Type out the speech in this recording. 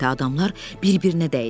Adamlar bir-birinə dəydi.